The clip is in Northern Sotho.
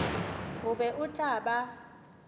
o be o tla ba